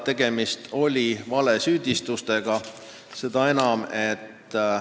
Tegemist oli valesüüdistustega.